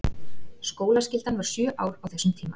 Skólaskyldan var sjö ár á þessum tíma.